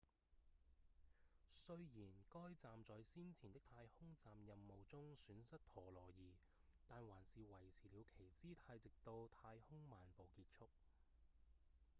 雖然該站在先前的太空站任務中損失陀螺儀但還是維持了其姿態直到太空漫步結束